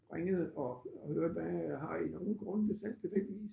Ringede og hørte hvad har I nogle grunde til salg tilfældigvis?